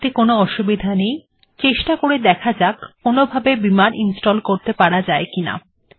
এতে কোনো অসুবিধা নেই চেষ্টা করে দেখা যাক কোনভাবে বিমার্ ইনস্টল্ করা যায় কিনা